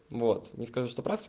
вот не скажу что прав